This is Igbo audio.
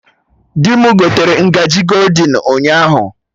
Dị mụ gotere ngaji goldin ụnyaahụ